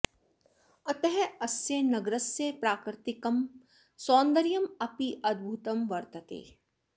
अतः अस्य नगरस्य प्राकृतिकं सौन्दर्यम् अपि अद्भूतं वर्तते